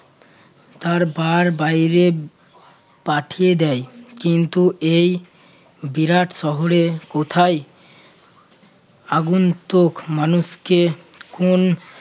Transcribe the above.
তার বার বাইরে পাঠিয়ে দেয় কিন্তু এই বিরাট শহরে কোথায় আগুন্তক মানুষকে কোন